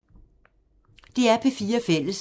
DR P4 Fælles